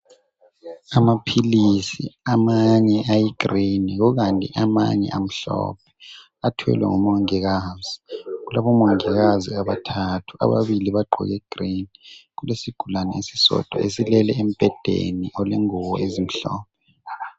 Amaphilizi amanye ayigry yiwo kanye amanye amhlophe athwele ngumongikazi. kulabomongikazi abathathu isigulane sisodwa silele embhedeni kukhona ingubo.